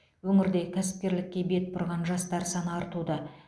өңірде кәсіпкерлікке бет бұрған жастар саны артуда